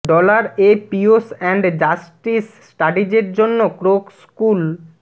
dollar এ peace and justice স্টাডিজের জন্য ক্রোক স্কুল